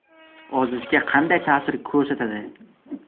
Ozishga qanday ta’sir ko‘rsatadi?